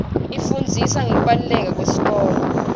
ifundzisa ngekubaluleka kwesikolo